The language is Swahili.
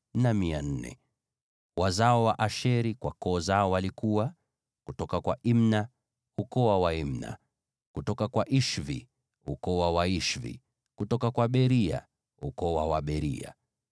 Wazao wa Asheri kwa koo zao walikuwa: kutoka kwa Imna, ukoo wa Waimna; kutoka kwa Ishvi, ukoo wa Waishvi; kutoka kwa Beria, ukoo wa Waberia;